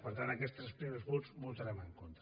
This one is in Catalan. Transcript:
per tant en aquests tres primers punts hi votarem en contra